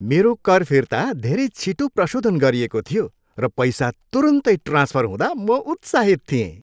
मेरो कर फिर्ता धेरै छिटो प्रशोधन गरिएको थियो, र पैसा तुरुन्तै ट्रान्फर हुँदा म उत्साहित थिएँ।